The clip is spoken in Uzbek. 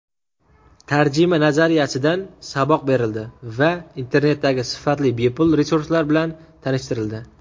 tarjima nazariyasidan saboq berildi hamda internetdagi sifatli bepul resurslar bilan tanishtirildi.